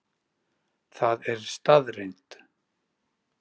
Það er staðreynd.